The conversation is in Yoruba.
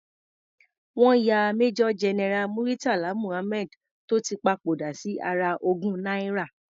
Wọ́n ya Major General Muritala Muhammad tó ti papòdà sí ara ogún náírà.